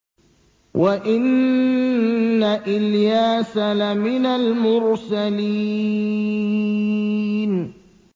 وَإِنَّ إِلْيَاسَ لَمِنَ الْمُرْسَلِينَ